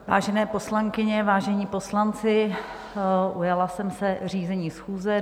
Vážené poslankyně, vážení poslanci, ujala jsem se řízení schůze.